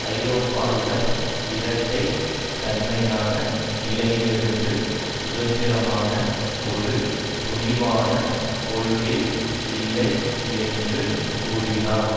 ஐரோப்பாவிடம் இரட்டை தன்மையான நிலையிலிருந்து சுதந்திரமான ஒரு துணிவான கொள்கை இல்லை என்று கூறினார்